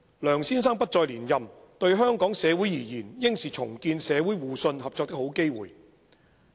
梁先生不再連任，對香港社會而言應是重建社會互信、合作的好機會。